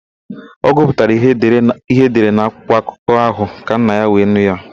Ọ gụpụtara ihe edere na akwụkwọakụkọ ahụ ka nna ya were nụ ya.